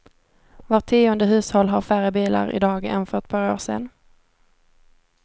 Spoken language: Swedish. Vart tionde hushåll har färre bilar i dag än för ett par år sedan.